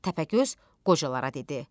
Təpəgöz qocalara dedi: